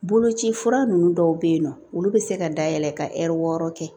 Boloci fura ninnu dɔw bɛ yen nɔ olu bɛ se ka dayɛlɛ ka wɔɔrɔ kɛ